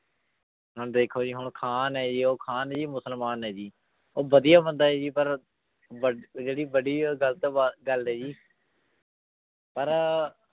ਹੁਣ ਦੇਖੋ ਜੀ ਹੁਣ ਖਾਨ ਹੈ ਜੀ ਉਹ ਖਾਨ ਜੀ ਮੁਸਲਮਾਨ ਹੈ ਜੀ ਉਹ ਵਧੀਆ ਬੰਦਾ ਹੈ ਜੀ ਪਰ ਬ~ ਜਿਹੜੀ ਬੜੀ ਉਹ ਗ਼ਲਤ ਬਾ~ ਗੱਲ ਹੈ ਜੀ ਪਰ